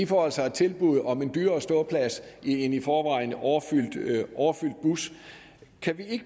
får altså et tilbud om en dyrere ståplads i en i forvejen overfyldt bus kan vi